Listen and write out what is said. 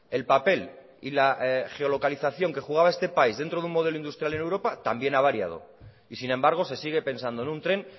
el papel y la geolocalización que jugaba este país dentro de un modelo industrial en europa también ha variado y sin embargo se sigue pensando en un tren